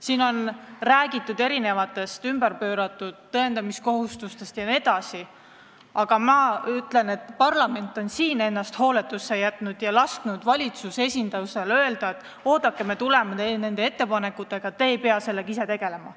Siin on räägitud erinevatest ümberpööratud tõendamise kohustustest jne, aga ma ütlen, et parlament on ennast hooletusse jätnud ja lasknud valitsuse esindusel öelda, et oodake, me tuleme nende ettepanekutega, teie ei pea sellega tegelema.